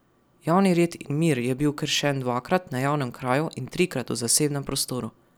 Javni red in mir je bil kršen dvakrat na javnem kraju in trikrat v zasebnem prostoru.